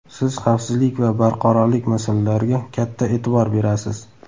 Siz xavfsizlik va barqarorlik masalalariga katta e’tibor berasiz.